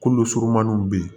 Kolo surumaniw bɛ yen